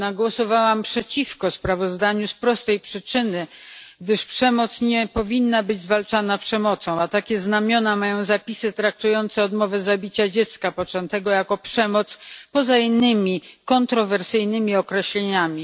Jednak głosowałam przeciwko sprawozdaniu z prostej przyczyny, gdyż przemoc nie powinna być zwalczana przemocą, a takie znamiona mają zapisy traktujące odmowę zabicia dziecka poczętego jako przemoc poza innymi kontrowersyjnymi określeniami.